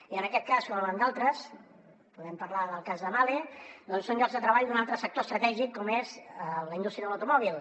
i en aquest cas com en d’altres podem parlar del cas de mahle doncs són llocs de treball d’un altre sector estratègic com és la indústria de l’automòbil